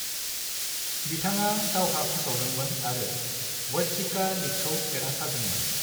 बिथाङा दावहा फोसावदोंमोन आरो वज्जिका लीगखौ देरहासारदोंमोन।